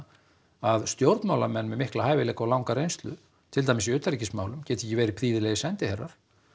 að stjórnmálamenn með mikla reynslu til dæmis í utanríkismálum geti ekki verið prýðilegir sendiherrar